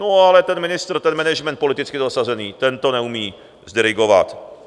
No ale ten ministr, ten management, politicky zasazený, ten to neumí zdirigovat.